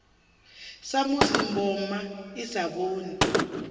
samusi mboma i sa vhoni